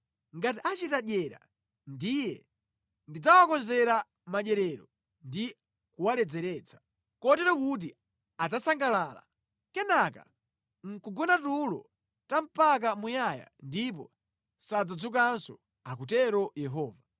Ngati achita dyera ndiye ndidzawakonzera madyerero ndi kuwaledzeretsa, kotero kuti adzasangalala, kenaka nʼkugona tulo mpaka muyaya ndipo sadzadzukanso,” akutero Yehova.